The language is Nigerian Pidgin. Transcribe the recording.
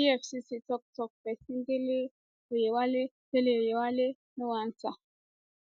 efcc toktok pesin dele oyewale dele oyewale no answer